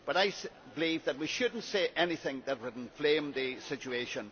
I believe that we should not say anything which would inflame the situation.